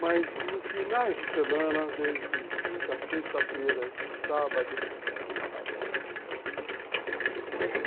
Mas nos finais de semana, desde quinta, sexta-feira e sábado, é uma baderna.